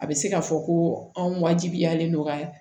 A bɛ se ka fɔ ko anw wajibiyalen don ka